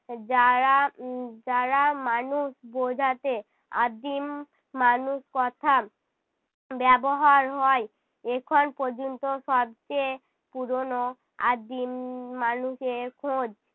যারা উহ যারা মানুষ বোঝাতে আদিম মানুষ কথা ব্যবহার হয় এখন পর্যন্ত সবচেয়ে পুরোনো আদিম মানুষের খোঁজ